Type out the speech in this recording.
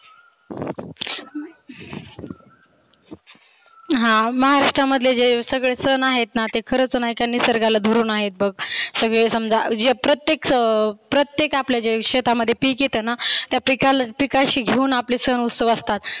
हा महाराष्ट्रामधले जे सगळे सन आहेतना ते खरच नाहीका निसर्गाला धरुण आहेत बघ. सगळे समजा प्रत्येक अं प्रत्येक आपल्या जे शेतामध्ये पिक येतना त्या पिकाल पिकाशी घेऊन आपले सन उत्सव असतात.